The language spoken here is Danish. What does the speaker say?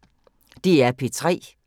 DR P3